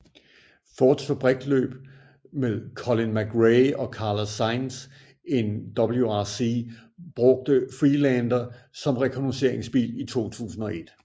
Fords fabriksløb med Colin McRae og Carlos Sainz i WRC brugte Freelander som rekognosceringsbil i 2001